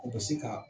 O bɛ se ka